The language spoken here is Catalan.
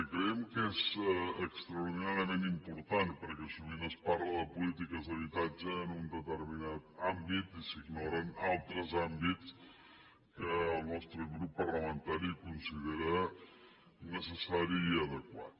i creiem que és extraordinàriament important perquè sovint es parla de polítiques d’habitatge en un determinat àmbit i s’ignoren altres àmbits que el nostre grup parlamentari ho considera necessari i adequat